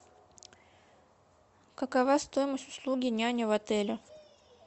какова стоимость услуги няни в отеле